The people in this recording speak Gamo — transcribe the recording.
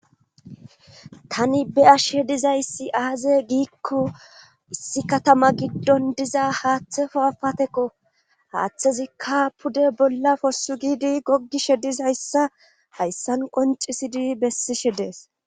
Tani be ashe dizayssi aaze giikko issi katama giddon diza haaththefo afatekko haaththezikka pude bolla possu giidi goggishe dizayssa hayssan qoncisidi bessishe dees.